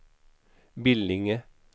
Billinge